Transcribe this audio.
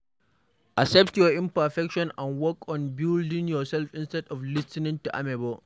Accept your imperfections and work on building yourself instead of lis ten ing to amebo